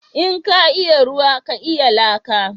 In ka iya ruwa ka iya laka?